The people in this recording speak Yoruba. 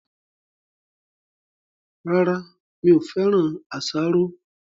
Rárá, mi ò féràn asaro